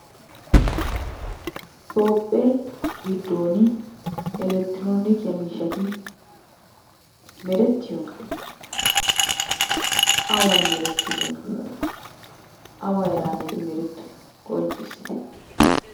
Toophe gidoon elekitronikiyaa miishshati meretiyoona? Awan meretidoona? Awa heeranne eti meretoy qonccissite?